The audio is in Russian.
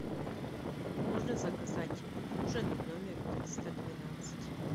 можно заказать ужин в номер триста двенадцать